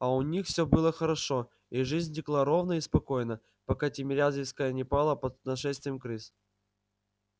у них все было хорошо и жизнь текла ровно и спокойно пока тимирязевская не пала под нашествием крыс